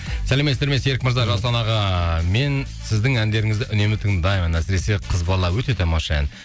сәлеметсіздер ме серік мырза жасұлан аға мен сіздің әндеріңізді үнемі тыңдаймын әсіресе қыз бала өте тамаша ән